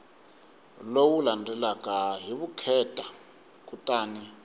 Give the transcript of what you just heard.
lowu landzelaka hi vukheta kutani